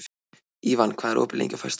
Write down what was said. Ívan, hvað er opið lengi á föstudaginn?